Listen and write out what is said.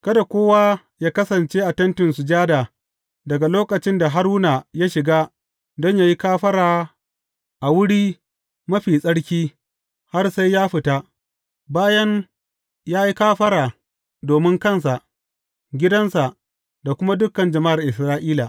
Kada kowa yă kasance a Tentin Sujada daga lokacin da Haruna ya shiga don yă yi kafara a Wuri Mafi Tsarki har sai ya fita, bayan ya yi kafara domin kansa, gidansa da kuma dukan jama’ar Isra’ila.